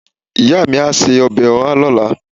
iya mi a se obe oha lola